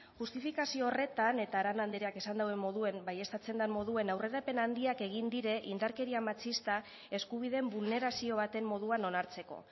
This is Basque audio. justifikazio horretan eta arana andreak esan duen moduan baieztatzen den moduan aurrerapen handiak egin dira indarkeria matxista eskubideen bulnerazio baten moduan onartzeko